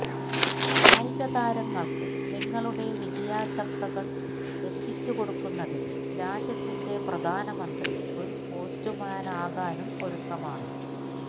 കായികതാരങ്ങള്ക്ക് നിങ്ങളുടെ വിജയാശംസകള് എത്തിച്ചുകൊടുക്കുന്നതിന് രാജ്യത്തിന്റെ പ്രധാനമന്ത്രി ഒരു പോസ്റ്റുമാനാകാനും ഒരുക്കമാണ്